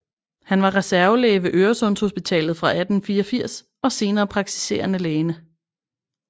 Han var reservelæge ved Øresundshospitalet fra 1884 og senere praktiserende læge